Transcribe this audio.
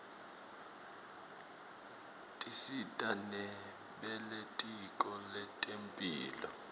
tisita nebelitiko letemphilo